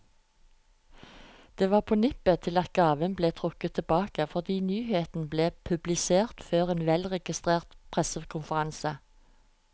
Det var på nippet til at gaven ble trukket tilbake, fordi nyheten ble publisert før en velregissert pressekonferanse.